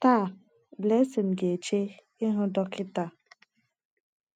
Taa Blessing ga-eche ịhụ dọkịta